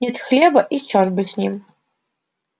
нет хлеба и чёрт бы с ним